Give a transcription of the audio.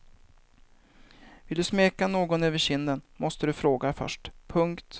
Vill du smeka någon över kinden måste du fråga först. punkt